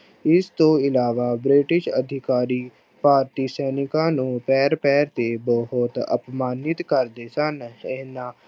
ਇਸ ਤੋਂ ਇਲਾਵਾ ਬ੍ਰਿਟਿਸ਼ ਅਧਿਕਾਰੀ ਭਾਰਤੀ ਸੈਨਿਕਾਂ ਨੂੰ ਪੈਰ ਪੈਰ ਤੇ ਬਹੁਤ ਅਪਮਾਨਿਤ ਕਰਦੇ ਸਨ, ਇਹਨਾਂ